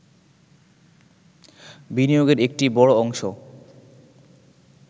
বিনিয়োগের একটি বড় অংশ